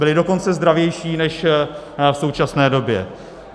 Byly dokonce zdravější než v současné době.